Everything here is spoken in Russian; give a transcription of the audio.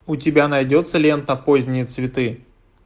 у тебя найдется лента поздние цветы